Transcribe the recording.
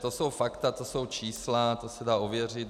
To jsou fakta, to jsou čísla, to se dá ověřit.